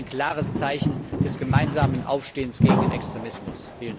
Das wäre ein klares Zeichen des gemeinsamen Aufstehens gegen den Extremismus!